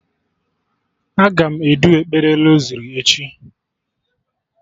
Aga m edu ekpere rosari echi